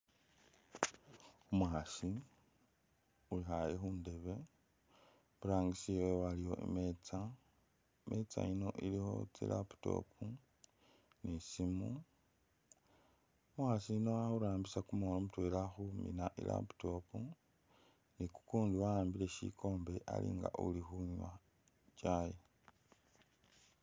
Umukhaasi wekhale khundebe iburangisi wewe waliyo imeetsa, imeetsa ino ilikho tsi laptop ni simu , umukhaasi yuno akhurambisa kumukhono mutwela khumina i'laptop ni kukundi waambile shikombe alinga uli khunwa kyayi.